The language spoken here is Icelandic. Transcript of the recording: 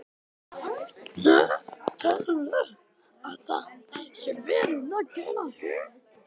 Telurðu að það sé verið að gera hér?